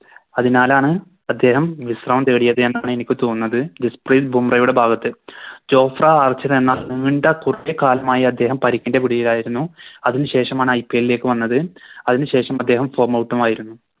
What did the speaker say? അതിനാലാണ് അദ്ദേഹം വിശ്രമം തേടിയത് എന്നാണ് എനിക്ക് തോന്നുന്നത് ജസ്പ്രീത് ബുംറയുടെ ഭാഗത്ത് കുറെ കാലമായി അദ്ദേഹം പരിക്കിൻറെ പിടിയിലായിരുന്നു അതിനു ശേഷമാണ് IPL ലേക്ക് വന്നത് അതിനു ശേഷം അദ്ദേഹം Form out ഉം ആയിരുന്നു